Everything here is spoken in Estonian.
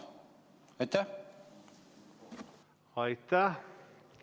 Aitäh!